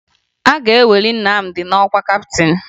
A ga-eweli Nnamdi n'ọkwa kaptịn